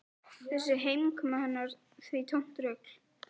Þessi heimkoma hennar því tómt rugl.